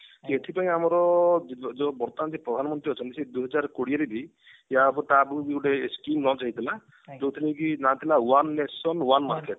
ଏଥିପାଇଁ ଆମର ଯୋଉ ଯୋଉ ବର୍ତମାନ ଯୋଉ ପ୍ରଧାନମନ୍ତ୍ରୀ ଅଛନ୍ତି ସେ ଦୁଇହାଜର କୋଡିଏ ରେ ବି ୟା ଉପରେ ତା ଆଗୁରୁ ବି ଗୋଟେ skim lunch ହେଇଥିଲା ଯୋଉଥରେ କି ନା ଥିଲା one nation one market